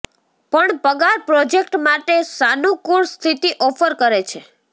પણ પગાર પ્રોજેક્ટ માટે સાનુકૂળ સ્થિતિ ઓફર કરે છે